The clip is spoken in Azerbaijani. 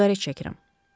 Siqaret çəkirəm.